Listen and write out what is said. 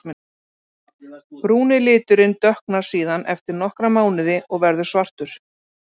Tófan er afar fyrirhyggjusöm skepna og er varptími fugla mikill bjargræðistími hjá henni.